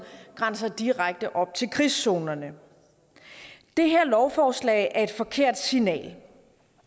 grænser direkte op til krigszonerne det her lovforslag er et forkert signal